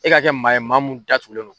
E ka kɛ maa ye, maa mun da tugulen don.